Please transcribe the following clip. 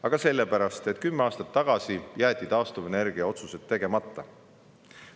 Aga sellepärast, et kümme aastat tagasi jäeti taastuvenergia otsused tegemata.